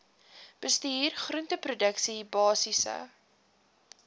bestuur groenteproduksie basiese